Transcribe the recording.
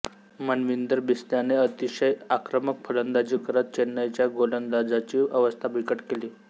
मनविंदर बिस्लाने अतिषय आक्रमक फलंदाजी करत चेन्नईच्या गोलदाजांची अवस्था बिकट केली